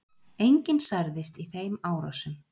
Enginn særðist í þeim árásum